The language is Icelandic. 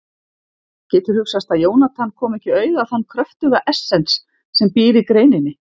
Getur hugsast að Jónatan komi ekki auga á þann kröftuga essens sem býr í greininni?